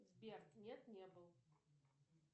сбер нет не был